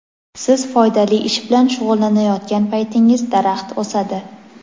Siz foydali ish bilan shug‘ullanayotgan paytingiz daraxt o‘sadi.